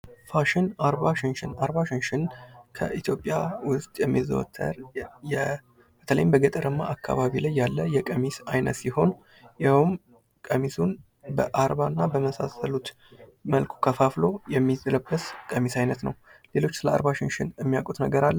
ፋሽን፡- ፋሽን አርባ ሽንሽን ከኢትዮጵያ ውስጥ የሚዘወትር በተለይም በገጠራማ አካባቢ ላይ ያለ የቀሚስ አይነት ሲሆን ይኸውም ቀሚሱን በአርባ እና በመሳሰሉት መልኩ ከፋፍሎ የሚለበስ የቀሚስ አይነት ነው። ሌሎች ስለ አርባ ሽንሽን የሚያውቁት ነገር አለ።